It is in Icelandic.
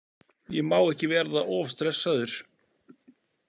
Ég má ekki verða of stressaður.